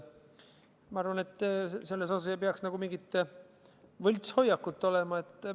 Ma arvan, et selles osas ei peaks mingit võltshoiakut olema.